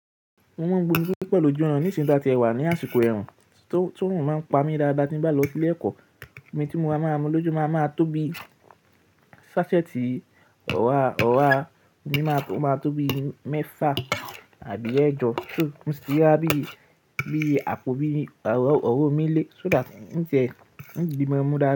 Mo máa ń gbónú sí pẹ̀lú oúnjẹ mi nísin ì ta tí ẹ wà ní àsìkò ẹ̀rùn, tí órun máa ń pa mí dáadáa tí n ba lọ sí ilé ẹ̀kọ́. Omi tí mo máa ń mú lójú máa ń tó bi sásẹ́ẹ̀tì ọ̀wáà, ó máa tó bí mẹ́fà àbí ẹẹ́jọ, tí mo sì máa bí ọ̀wọ̀ mí lé, so that nǹjẹ́ n ribí mo mú dáadáa.